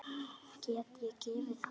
Get ég gefið það?